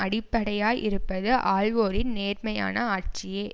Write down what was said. அடிப்படையாய் இருப்பது ஆள்வோரின் நேர்மையான ஆட்சியே